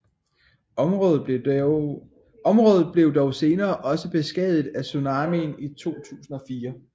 Området blev dog senere også beskadiget af tsunamien i 2004